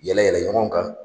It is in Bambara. Yɛlɛ yɛlɛ ɲɔgɔn kan